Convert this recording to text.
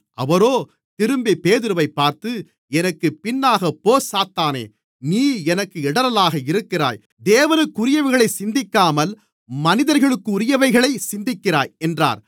அவரோ திரும்பி பேதுருவைப் பார்த்து எனக்குப் பின்னாகப்போ சாத்தானே நீ எனக்கு இடறலாக இருக்கிறாய் தேவனுக்குரியவைகளைச் சிந்திக்காமல் மனிதர்களுக்குரியவைகளைச் சிந்திக்கிறாய் என்றார்